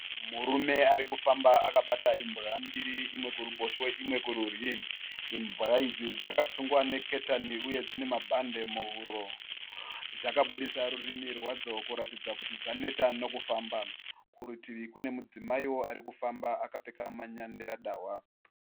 Murume ari kufamba akabata imbwa mbiri imwe kuruboshwe imwe kurudyi. Imbwa idzi dzaka sungwa nengetani uye dzine mabhandi muhuro, dzakaburitsa rurimi rwadzo kuratidza kuti dzaneta nekufamba. Kurutivi kune mudzimaiwo ari kufamba akapfeka manyangira dahwa